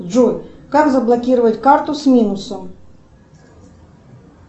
джой как заблокировать карту с минусом